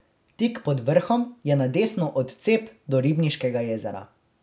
Tik pod vrhom je na desno odcep do Ribniškega jezera.